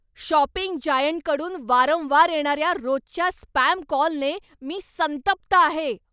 Shopping जायंटकडून वारंवार येणार्या रोजच्या स्पॅम कॉलने मी संतप्त आहे.